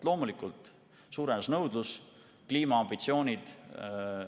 Loomulikult suurenes nõudlus, on kliimaambitsioonid.